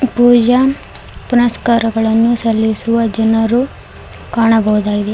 ಪೂಜಾ ಪುನಸ್ಕಾರಗಳನ್ನು ಸಲ್ಲಿಸುವ ಜನರು ಕಾಣಬೋದಾಗಿದೆ.